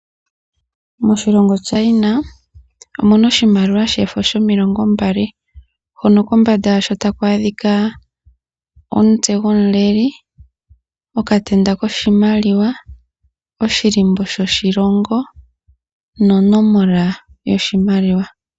Moshilongo China omuna oshimaliwa shefo shomilongo mbali hono kombanda yasho taku adhika omutse gomuleli, okatenda koshimaliwa, oshilimbo shoshilongo nonomola yoshimaliwa.